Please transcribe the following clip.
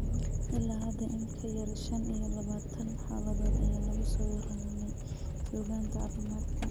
Ilaa hadda, in ka yar shan iyo labatan xaaladood ayaa lagu soo warramey suugaanta caafimaadka.